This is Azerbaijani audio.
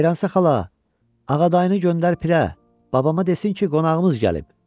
Xeyransə xala, Ağadayını göndər pirə, babama desin ki, qonağımız gəlib.